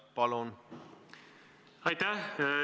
Palun!